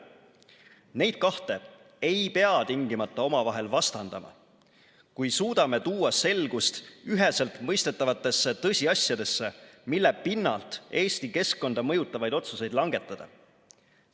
Neid kahte ei pea tingimata omavahel vastandama, kui suudame tuua selgust üheselt mõistetavatesse tõsiasjadesse, mille pinnalt Eesti keskkonda mõjutavaid otsuseid langetada.